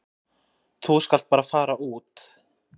Þú skalt bara fara út.